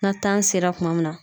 Nan tan sera tuma min na